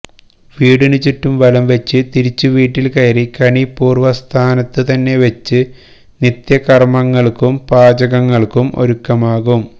വീടിനുചുറ്റും വലംവച്ച് തിരിച്ചു വീട്ടില് കയറി കണി പൂര്വ്വ സ്ഥാനത്തുതന്നെ വച്ച് നിത്യകര്മ്മങ്ങള്ക്കും പാചകങ്ങള്ക്കും ഒരുക്കമാകും